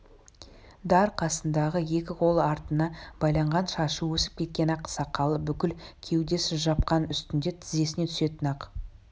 дар қасында екі қолы артына байланған шашы өсіп кеткен ақ сақалы бүкіл кеудесін жапқан үстінде тізесіне түсетін ақ